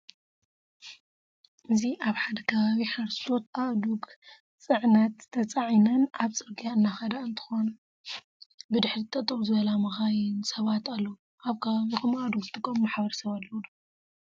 እዚ አብ ሐደ ከባቢ ሐረስቶት አእዱግ ፅዕነት ተፀዓይነን አብ ፅርግያ እናኸዳ እንትኾና ብድሕሪት ጠጠው ዝበላ መካይን፣ ሰባት አለው። አብ ከባቢኹም አእዱግ ዝጥቀሙ ማሕበረሰብ አለው ዶ?